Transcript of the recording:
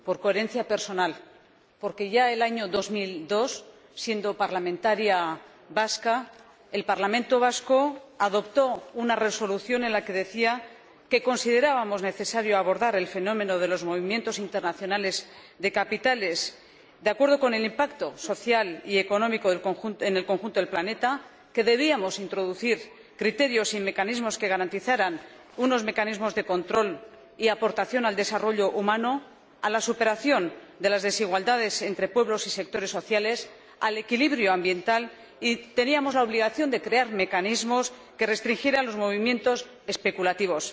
Por coherencia personal, porque ya el año 2002, siendo parlamentaria vasca, el Parlamento Vasco aprobó una resolución en la que decía que considerábamos necesario abordar el fenómeno de los movimientos internacionales de capitales, de acuerdo con el impacto social y económico en el conjunto del planeta, que debíamos introducir criterios y mecanismos que garantizaran unos mecanismos de control y aportación al desarrollo humano, a la superación de las desigualdades entre pueblos y sectores sociales y al equilibrio ambiental, y que teníamos la obligación de crear mecanismos que restringieran los movimientos especulativos.